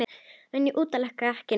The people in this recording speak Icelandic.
En ég útiloka ekki neitt.